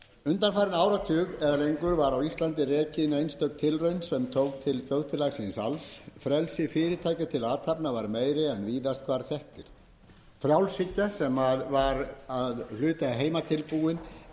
undanfarin áratug eða lengur var á íslandi rekin einstök tilraun sem tók til þjóðfélagsins alls frelsi fyrirtækja til athafna var meira en víðast hvar þekktist frjálshyggjan tröllreið og afskipti ríkisins af öðru en málefnum þjóðgarða fordæmi